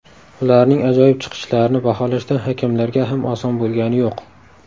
Ularning ajoyib chiqishlarini baholashda hakamlarga ham oson bo‘lgani yo‘q.